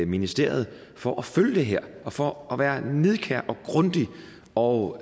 ministeriet for at følge det her og for at være nidkære og grundige og